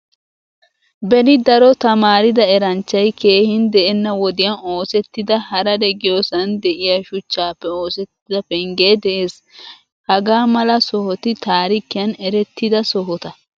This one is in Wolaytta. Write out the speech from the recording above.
Beni daro tamaarida eranchchay keehin de'ena wodiyan oosettida harare giyosan deiya shuchchappe oosettida pengge de'ees. Hagaamala sohoti taarikiyan eretidda sohota.